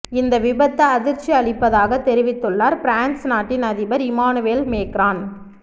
இந்த விபத்து அதிர்ச்சி அளிப்பதாகத் தெரிவித்துள்ளார் பிரான்ஸ் நாட்டின் அதிபர் இம்மானுவேல் மேக்ரான்